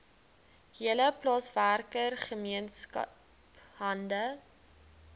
hele plaaswerkergemeenskap hande